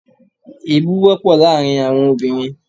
Èébú wọ́pọ̀ láàrin àwọn obìnrin